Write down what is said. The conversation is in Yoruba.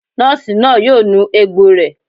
Nọ́ọ̀sì náà yóò nu egbò rẹ̀